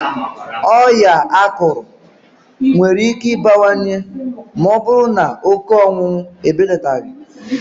Ọya akụrụ nwere ike ibewanye maọbụrụ n' oke ọṅụṅụ ebelataghị.